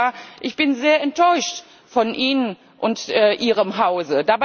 Herr Kommissar, ich bin sehr enttäuscht von Ihnen und Ihrem Hause!